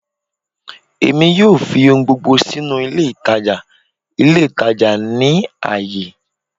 Emi yoo fi ohun gbogbo sinu ile itaja itaja ni aaye